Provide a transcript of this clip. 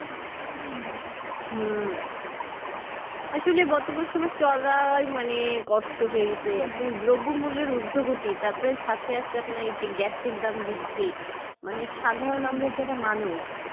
হুম আসলে বর্তমান সময় চলায় মানে কষ্ট হয়ে গিয়েছে আপনি দ্রবমূল্যের উর্ধগতি তারপরে সাথে আছে আপনার এই যে গ্যাসের দাম বৃদ্ধি মানে সাধারণ আমরা যারা মানুষ